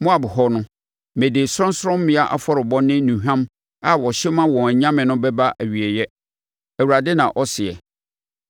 Moab hɔ no, mede sorɔnsorɔmmea afɔrebɔ ne nnuhwam a wɔhye ma wɔn anyame no bɛba awieeɛ,” Awurade na ɔseɛ.